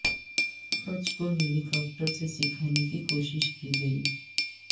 pitch کو helicopter سے سکھانے کی کوشش کی گئی